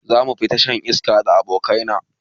Zamu fita shan iska da abokai na